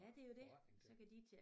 Og forretning til